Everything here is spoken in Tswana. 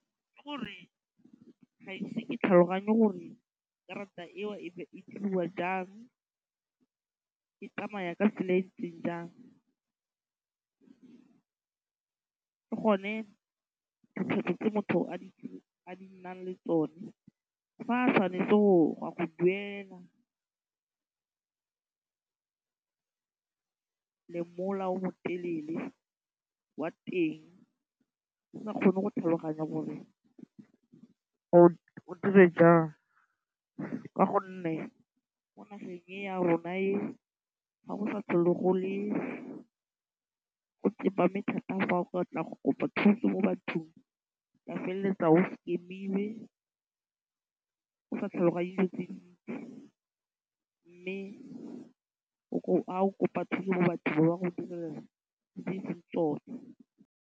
Ke gore ga ise ke tlhaloganye gore karata eo e ne e diriwa jang, e tsamaya ka tsela e ntseng jang le gone tse motho a a nang le tsone fa tshwanetse go a go duela o mo telele wa teng o sa kgone go tlhaloganya gore o dire jang ka gonne mo nageng e ya rona ga go sa tlhole go tsepame thata fa o batla go kopa thuso mo bathong o ka feleletsa o scam-ilwe o sa tlhaloganye dilo kopa thuso mo bathong ba ba go direla tse e seng tsone.